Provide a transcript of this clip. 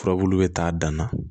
Furabulu bɛ taa dan na